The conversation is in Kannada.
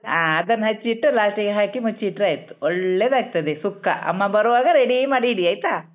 ಹಾ ಅದನ್ನ ಹೆಚ್ಚಿ ಇಟ್ಟು last ಗೆ ಹಾಕಿ ಮುಚ್ಚಿಟ್ರಾಯ್ತು ಒಳ್ಳೇದಾಗ್ತತಾದೆ ಸುಕ್ಕ ಅಮ್ಮ ಬರವಾಗ ready ಮಾಡಿ ಆಯ್ತಾ.